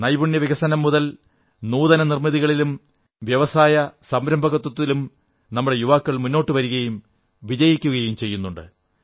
നൈപുണ്യവികസനം മുതൽ നൂതനനിർമ്മിതികളിലും വ്യവസായ സംരംഭകത്വത്തിലും നമ്മുടെ യുവാക്കൾ മുന്നോട്ടു വരുകയും വിജയിക്കുകയും ചെയ്യുന്നുണ്ട്